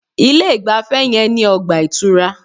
Ilé ìgbafẹ́ yẹn ní ọgbà ìtura.